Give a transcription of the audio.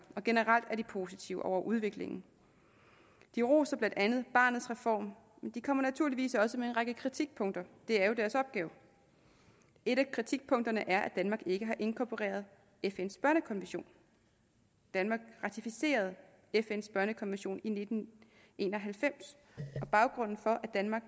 og generelt er de positive over for udviklingen de roser blandt andet barnets reform men de kommer naturligt også med en række kritikpunkter det er jo deres opgave et af kritikpunkterne er danmark ikke har inkorporeret fns børnekonvention danmark ratificerede fns børnekonvention i nitten en og halvfems baggrunden for at danmark